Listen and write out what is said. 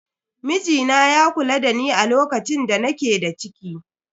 Mijina ya kula dani a lokacin da nake da ciki.